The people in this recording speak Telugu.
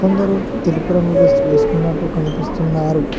కొందరు తెలుపు రంగు డ్రెస్ వేసుకున్నట్టు కనిపిస్తున్నారు.